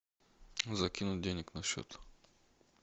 закинуть денег на счет